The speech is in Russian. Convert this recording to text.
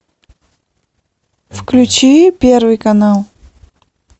включи первый канал